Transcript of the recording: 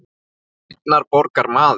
Ég er einnar borgar maður.